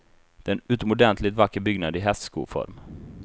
Den är en utomordentligt vacker byggnad i hästskoform.